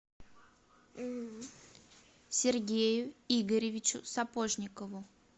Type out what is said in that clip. сергею игоревичу сапожникову